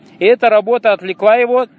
и эта работа отвлекла его